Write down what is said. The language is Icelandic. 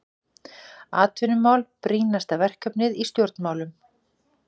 Atvinnumál brýnasta verkefnið í stjórnmálum